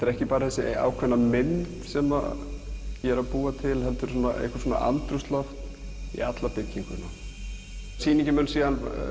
er ekki bara þessi mynd sem ég er að búa til heldur andrúmsloft í alla byggingu sýningin mun svo